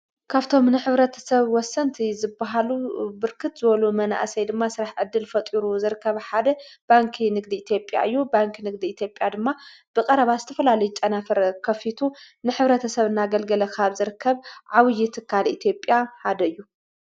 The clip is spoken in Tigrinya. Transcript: ካፍቶም ንኅብረተ ሰብ ወሰንቲ ዝብሃሉ ብርክት ዝበሉ መንእሰይ ድማ ሥራሕ ዕድል ፈጡሩ ዘርከብ ሓደ ባንኪ ንግዲ ኢቲጴያ እዩ ባንኪ ንግዲ ኢቲጴያ ድማ ብቐረባ ስተፈላል ጨናፍረ ከፊቱ ንኅብረተ ሰብ እና ገልገለኻብ ዘርከብ ዓውዪ ትካል ኢቲጴያ ሃደዩ።